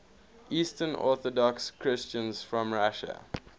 eastern orthodox christians from russia